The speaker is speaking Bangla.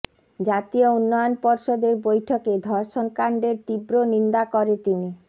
জাতীয় উন্নয়ন পর্ষদের বৈঠকে ধর্ষণকাণ্ডের তীব্র নিন্দা করে তিনি